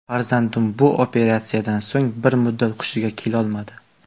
Farzandim bu operatsiyadan so‘ng bir muddat hushiga kelolmadi.